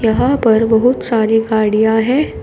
यहां पर बहुत सारी गाड़ियां है।